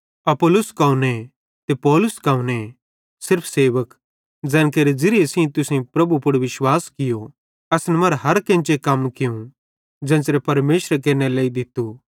अपुल्लोस कौने ते पौलुस कौने सिर्फ सेवक ज़ैन केरे ज़िरिये तुसेईं प्रभु पुड़ विश्वास कियो असन मरां हर केन्चे कम कियूं ज़ेन्च़रे परमेशरे केरनेरे लेइ दित्तू